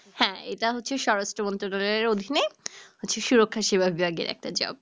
হ্যাঁএটা হচ্ছে স্বরাষ্ট্র মন্ত্রণালয়ের অধীনে হচ্ছে সুরক্ষা সেবা brand এর একটা job